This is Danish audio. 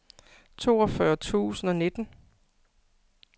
toogfyrre tusind og nitten